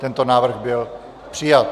Tento návrh byl přijat.